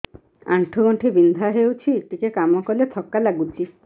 ଆଣ୍ଠୁ ଗଣ୍ଠି ବିନ୍ଧା ହେଉଛି ଟିକେ କାମ କଲେ ଥକ୍କା ଲାଗୁଚି